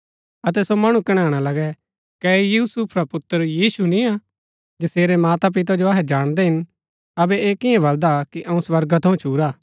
अतै सो मणु कणैणा लगै कै ऐह यूसुफ रा पुत्र यीशु निय्आ जसेरै मातापिता जो अहै जाणदै हिन अबै ऐह कियां बलदा कि अऊँ स्वर्गा थऊँ छुरा